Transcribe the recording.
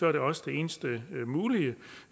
er det også det eneste mulige